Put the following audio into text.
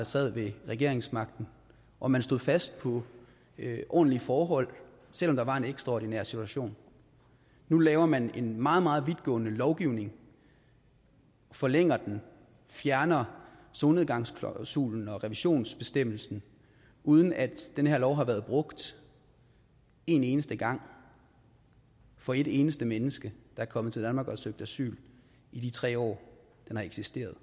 sad med regeringsmagten og man stod fast på ordentlige forhold selv om der var en ekstraordinær situation nu laver man en meget meget vidtgående lovgivning forlænger den og fjerner solnedgangsklausulen og revisionsbestemmelsen uden at den her lov har været brugt en eneste gang for et eneste menneske der er kommet til danmark og har søgt asyl i de tre år den har eksisteret